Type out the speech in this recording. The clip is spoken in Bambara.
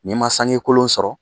N'i ma sange kolon sɔrɔ